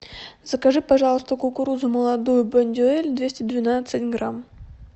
закажи пожалуйста кукурузу молодую бондюэль двести двенадцать грамм